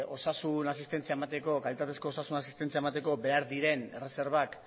osasun asistentzia emateko kalitatezko osasun asistentzia emateko behar diren erreserbak